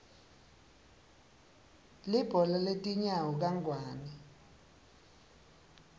libhola letinyawo kangwane